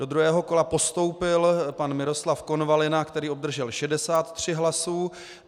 Do druhého kola postoupil pan Miroslav Konvalina, který obdržel 63 hlasů.